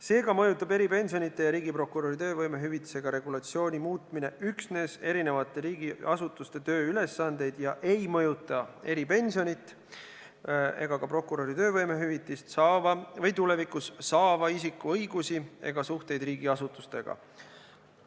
Seega mõjutab eripensionide ja riigiprokuröri töövõimehüvitise regulatsiooni muutmine üksnes eri riigiasutuste tööülesandeid, see ei mõjuta eripensionit ega ka prokuröri töövõimehüvitist saava isiku õigusi ega suhteid riigiasutustega.